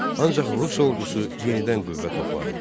Ancaq rus ordusu yenidən qüvvə topladı.